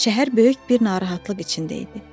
Şəhər böyük bir narahatlıq içində idi.